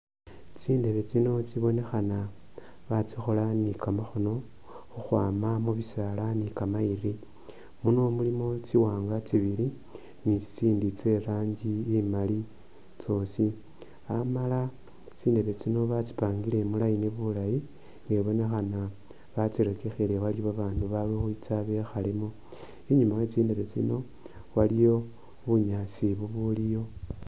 Tsindebe tsino tsibonekhana batsikhola ni kamakhono, khukhwama mubisaala ni kamayiri, muno mulimo tsiwanga tsibili ni tsitsindi tse rangi imali tsosi, amala tsindebe tsino batsipangile mu line bulayi ibonekhana batsirekekhele waliyo ba bandu bali ukwitsa bekhalemo, inyuma we tsindebe tsino waliyo bunyaasi bu buliyo.